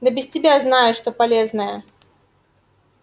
да без тебя знаю что полезное